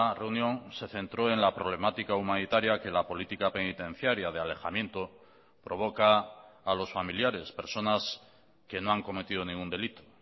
reunión se centró en la problemática humanitaria que la política penitenciaria de alejamiento provoca a los familiares personas que no han cometido ningún delito